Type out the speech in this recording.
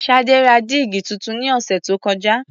Ṣadé ra dígí tuntun ní ọ̀sẹ̀ tó kọjá.